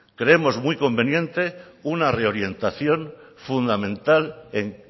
creemos muy conveniente una reorientación fundamental en